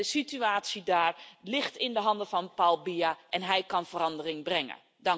De situatie daar ligt in de handen van Paul Biya en hij kan verandering brengen.